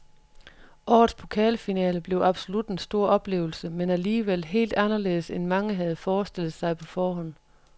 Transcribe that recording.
Årets pokalfinale blev absolut en stor oplevelse, men alligevel helt anderledes end mange havde forestillet sig på forhånd.